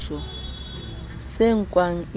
se nkwang e le mputso